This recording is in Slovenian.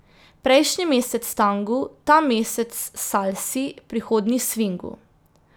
Prejšnji mesec tangu, ta mesec salsi, prihodnji svingu.